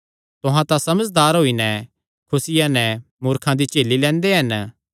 तुहां तां समझदार होई नैं खुसिया नैं मूर्खां दी झेली लैंदे हन